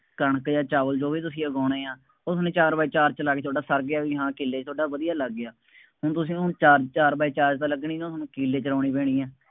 ਕਣਕ ਜਾਂ ਚਾਵਲ ਜੋ ਵੀ ਤੁਸੀਂ ਉਗਾਉਣੇ ਆ, ਉਹ ਤੁਹਾਨੂੰ ਚਾਰ ਬਾਏ ਚਾਰ ਚ ਲਾ ਕੇ ਤੁਹਾਡਾ ਸਰ ਗਿਆ ਬਈ ਹਾਂ ਕਿੱਲੇ ਚ ਉਹ ਤਾਂ ਵਧੀਆ ਲੱਗ ਗਿਆ, ਹੁਣ ਤੁਸੀਂ ਉਹਨੂੰ ਚਾਰ ਚਾਰ ਬਾਏ ਚਾਰ ਚ ਤਾਂ ਲੱਗਣੀ ਨਹੀਂ, ਉਹਨੂੰ ਕਿੱਲੇ ਚ ਲਾਉਣੀ ਪੈਣੀ ਹੈ।